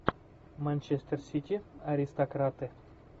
манчестер сити аристократы